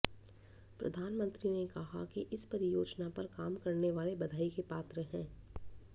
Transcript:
प्रधानमंत्री ने कहा कि इस परियोजना पर काम करने वाले बधाई के पात्र हैं